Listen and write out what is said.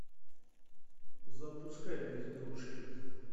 запускай безделушки